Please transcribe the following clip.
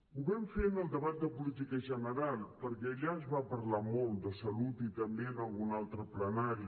ho vam fer en el debat de política general perquè allà es va parlar molt de salut i també en algun altre plenari